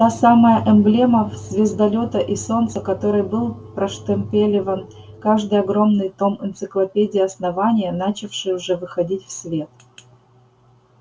та самая эмблема звездолёта и солнца которой был проштемпелёван каждый огромный том энциклопедии основания начавшей уже выходить в свет